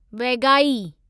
Vaigai